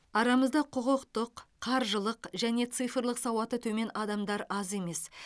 арамызда құқықтық қаржылық және цифрлық сауаты төмен адамдар аз емес